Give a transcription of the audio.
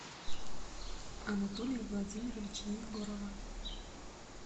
анатолия владимировича егорова